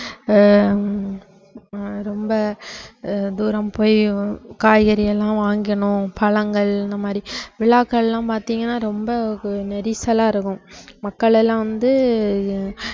ஆஹ் ஹம் ரொம்ப அஹ் தூரம் போய் காய்கறி எல்லாம் வாங்கணும், பழங்கள் இந்த மாதிரி விழாக்கள்லாம் பாத்தீங்கன்னா ரொம்ப கூ~ நெரிசலா இருக்கும் மக்கள் எல்லாம் வந்து அஹ்